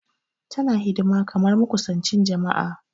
Tana hidima kamar makusanchi jama'a.